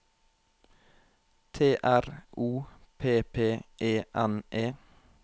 T R O P P E N E